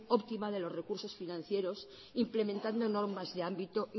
optima de los recursos financieros implementando normas de ámbito